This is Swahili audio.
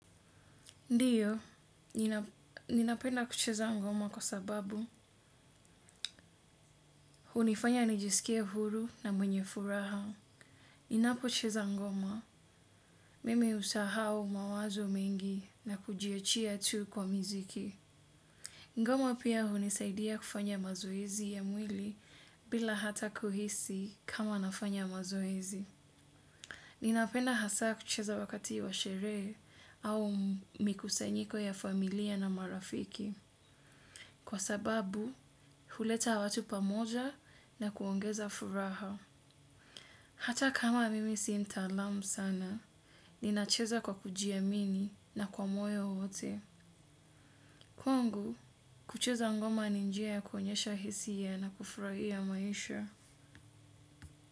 Ndio, ninapenda kucheza ngoma kwa sababu hunifanya nijiskie huru na mwenye furaha. Ninapocheza ngoma, mimi usahau mawazo mengi na kujiachia tu kwa miziki. Ngoma pia hunisaidia kufanya mazoezi ya mwili bila hata kuhisi kama nafanya mazoezi. Ninapenda hasa kucheza wakati wa sherehe au mikusanyiko ya familia na marafiki. Kwa sababu, huleta watu pamoja na kuongeza furaha. Hata kama mimi si ntalamu sana, ninacheza kwa kujiamini na kwa moyo wote. Kwangu, kucheza ngoma ni njia ya kuonyesha hisia na kufurahia maisha.